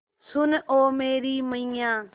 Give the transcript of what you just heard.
सुन ओ मेरी मैय्या